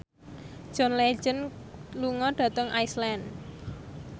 John Legend lunga dhateng Iceland